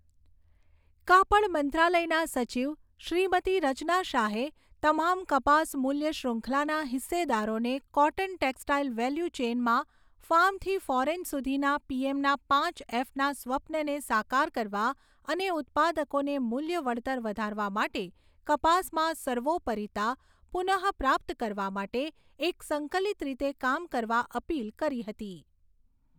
કાપડ મંત્રાલયના સચિવ શ્રીમતી રચના શાહે તમામ કપાસ મૂલ્ય શૃંખલાના હિસ્સેદારોને કોટન ટેક્સટાઇલ વેલ્યુ ચેઇનમાં ફાર્મથી ફોરેન સુધીના પીએમના પાંચ એફના સ્વપ્નને સાકાર કરવા અને ઉત્પાદકોને મૂલ્ય વળતર વધારવા માટે કપાસમાં સર્વોપરિતા પુનઃપ્રાપ્ત કરવા માટે એક સંકલિત રીતે કામ કરવા અપીલ કરી હતી.